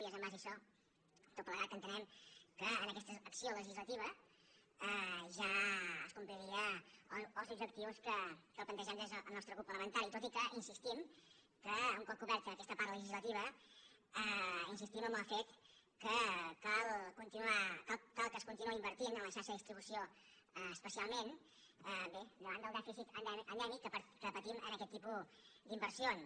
i és en base a això tot plegat que entenem que en aquesta acció legislativa ja es complirien els objectius que plantegem des del nostre grup parlamentari tot i que un cop coberta aquesta part legislativa insistim en el fet que cal que es continuï invertint en la xarxa de distribució especialment bé davant del dèficit endèmic que patim en aquest tipus d’inversions